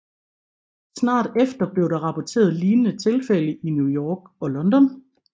Snart efter blev der rapporteret lignende tilfælde i New York og London